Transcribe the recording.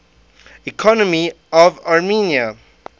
economy of armenia